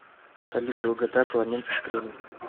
салют долгота коломенский кремль